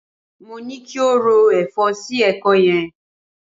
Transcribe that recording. Mo ní ki o ro ẹ̀fọ́ sí ẹ̀kọ́ yẹn.